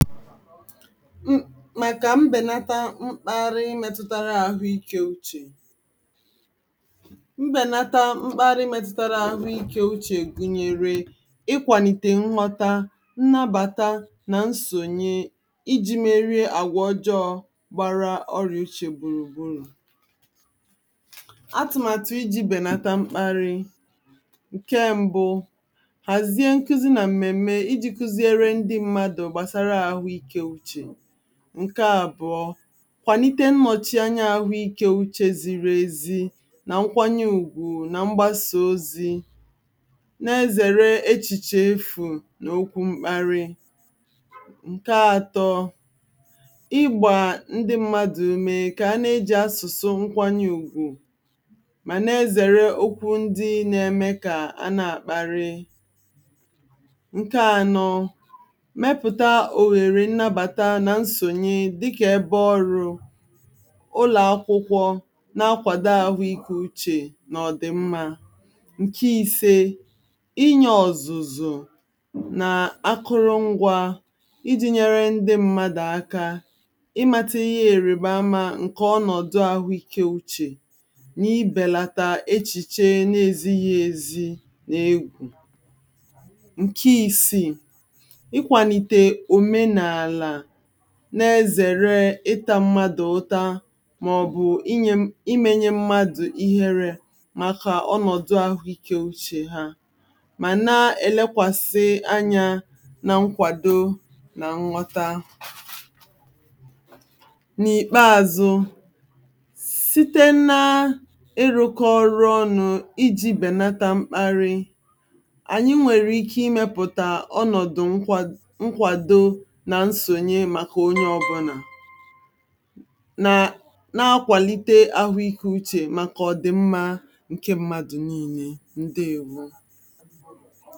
m maka mbenàtà mkpàrí metụtara àhụ́ị̀ké úchè mbenàtà mkpàrí metụtara àhụ́ị̀ké úchè gụ̀nyèrè ịkwàlítè m̀nwúta, nnàbàtà na nsònyè iji meríe àgwà ọjọọ gbàrà ọríà úchè gbùrùgbùrù àtụ̀pọ̀tụ̀ iji bènàtà mkpàrí ǹkè mbu hàzie n̄kụ́zì na mmèmme iji kụ́zìèrè ndí mmádụ gbasàrà àhụ́ị̀ké úchè ǹkè àbùọ kwàlítè nnọ̀chí ànyà àhụ́ị̀ké úchè zìrì èzí nà nkwànyè ùgwù nà mgbàsà òzì nà-èzèrè èchìchè èfù, n’okwú mkpàrí ǹkè àtọ̇ ígbà ndí̇ mmádụ ùmè kà a nà-eji àsụ̀sụ̀ nkwànyè ùgwù mà nà-èzèrè òkwú ndí nà-ème kà a na-àkparí ǹkè ànọ̇ mẹpùtà òhèrè nnàbàtà nà nsònyè dịkà èbè ọ̀rụ̇ ǹlụ̀ọ̀ akwụkwọ na-akwàdò àhụ́ị̀ké úchè nà ọ dị̀ mma ǹkè ìsè ínyè ọ̀zụ̀zụ̀ nà àkùrụ̀ngwà iji̇ nyèrè ndí mmádụ̀ aka ìmàtì̇ íhè èrèbàmá ǹkè ọnọ̀dụ̀ àhụ́ị̀ké úchè nà-ìbèlàtà èchìchè na-èzíghì èzí n’egwú ǹkè ìsìi íkwàlítè òmènàlà na-èzèrè ịtà mmádụ ùtà màọ̀bụ̀ ímènye mmádụ ìhèré màkà ọnọ̀dụ̀ àhụ́ị̀ké úchè hà, mà nà-èlèkwàsì ànyà na nkwàdò nà nghọ̀tà n’ìkpèàzụ sị̀tè nà írụ̇kọ ọ̀rụ̇ ònù̇ iji̇ bènàtà mkpàrí ànyì nwèrè ike ìmèpùtà ònọ̀dụ̀ nkwàdò na nsònyè màkà onye ọ̀bùnà nà-akwàlítè àhụ́ị̀ké úchè màkà ọ̀dị̀ mma ǹkè mmádụ̀ nile ǹdèèwó